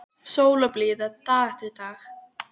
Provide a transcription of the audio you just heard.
Sól og blíða dag eftir dag.